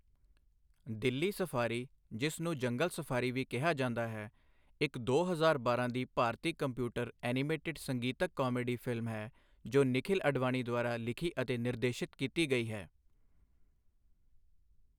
Delhi safari, ਜਿਸ ਨੂੰ ਜੰਗਲ ਸਫ਼ਾਰੀ ਵੀ ਕਿਹਾ ਜਾਂਦਾ ਹੈ, ਇੱਕ ਦੋ ਹਜ਼ਾਰ ਬਾਰਾਂ ਦੀ ਭਾਰਤੀ ਕੰਪਿਊਟਰ ਐਨੀਮੇਟਿਡ ਸੰਗੀਤਕ ਕਾਮੇਡੀ ਫਿਲਮ ਹੈ ਜੋ ਨਿਖਿਲ ਅਡਵਾਨੀ ਦੁਆਰਾ ਲਿਖੀ ਅਤੇ ਨਿਰਦੇਸ਼ਿਤ ਕੀਤੀ ਗਈ ਹੈ।